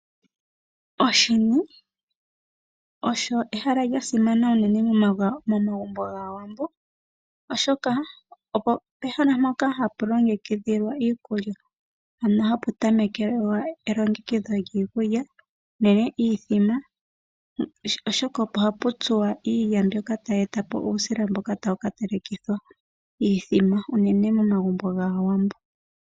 Oshini osho ehala lya simana unene momagumbo gAawambo, oshoka opo pehala mpoka hapu tamekelwa elongekidho lyiikulya unene iithima, oshoka opo hapu tsuwa iilya mbyoka tayi e ta po uusila mboka tawu ka telekithwa iithima unene momagumbo gAawambo.